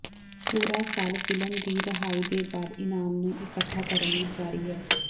ਪੂਰਾ ਸਾਲ ਫ਼ਿਲਮ ਦੀ ਰਿਹਾਈ ਦੇ ਬਾਅਦ ਇਨਾਮ ਨੂੰ ਇਕੱਠਾ ਕਰਨ ਲਈ ਜਾਰੀ ਹੈ